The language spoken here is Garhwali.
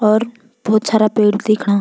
और भोत सारा पेड़ दिखणा।